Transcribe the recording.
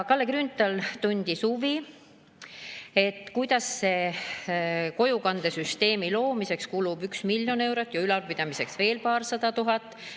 Kalle Grünthal tundis huvi, kuidas kojukandesüsteemi loomiseks kulub 1 miljon eurot ja ülalpidamiseks veel paarsada tuhat.